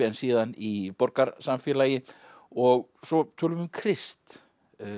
en síðan í borgarsamfélagi og svo tölum við um Krist